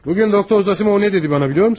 Bu gün doktor Zosimov mənə nə dedi, bilirsən?